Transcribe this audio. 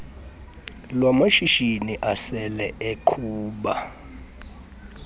lwamashishini asele eqhuba